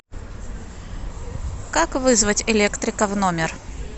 как вызвать электрика в номер